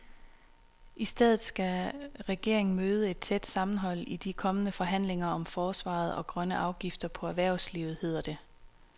I stedet skal regeringen møde et tæt sammenhold i de kommende forhandlinger om forsvaret og grønne afgifter på erhvervslivet, hedder det.